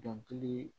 Dɔnkili